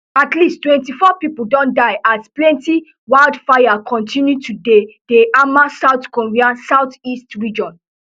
at least twenty-four pipo don die as plenti wildfires continue to dey dey hammer south korea southeast region